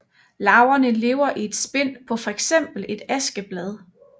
Larverne lever i et spind på fx et askeblad